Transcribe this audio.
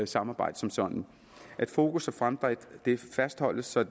samarbejde som sådan at fokus og fremdrift fastholdes så